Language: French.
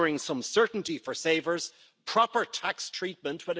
nouveau à des personnes qui peuvent être exposées à des mobilités importantes.